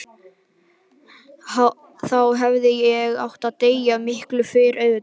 Þá hefði ég átt að deyja, og miklu fyrr auðvitað.